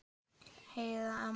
Heiða amma.